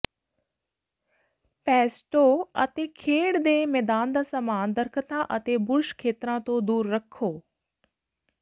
ਪੇਸਟੋ ਅਤੇ ਖੇਡ ਦੇ ਮੈਦਾਨ ਦਾ ਸਾਮਾਨ ਦਰਖ਼ਤਾਂ ਅਤੇ ਬੁਰਸ਼ ਖੇਤਰਾਂ ਤੋਂ ਦੂਰ ਰੱਖੋ